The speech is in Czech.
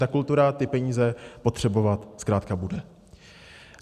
Ta kultura ty peníze potřebovat zkrátka bude.